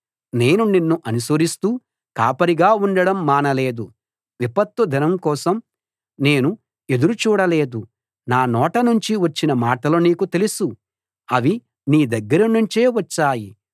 నేను నిన్ను అనుసరిస్తూ కాపరిగా ఉండడం మానలేదు విపత్తుదినం కోసం నేను ఎదురు చూడలేదు నా నోట నుంచి వచ్చిన మాటలు నీకు తెలుసు అవి నీ దగ్గరనుంచే వచ్చాయి